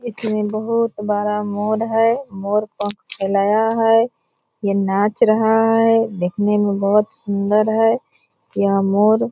इसमें बहोत बरा मोर है। मोर पंख फैलाया है। ये नाच रहा है दिखने में बहोत सुंदर है यह मोर --